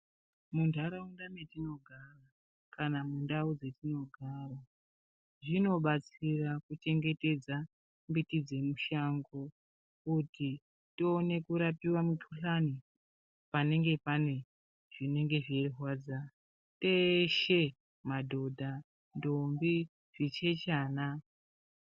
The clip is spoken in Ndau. Muntaraunda metinogara kana mundau dzetinogara zvinobatsira kuchengetedza mbiti dzemushango kuti tione kurapiwa mikuhlani panenge pane zvinenge zveirwadza teshe madhodha, ndombi, zvichechana.